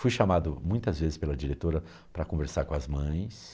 Fui chamado muitas vezes pela diretora para conversar com as mães.